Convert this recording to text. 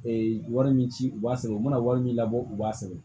wari min ci u b'a sɛbɛn u mana wari min labɔ u b'a sɛbɛn